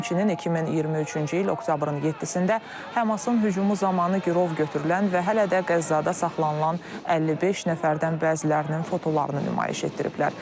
Həmçinin 2023-cü il oktyabrın 7-də Həmasın hücumu zamanı girov götürülən və hələ də Qəzzada saxlanılan 55 nəfərdən bəzilərinin fotolarını nümayiş etdiriblər.